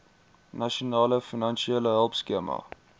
nasionale finansiële hulpskema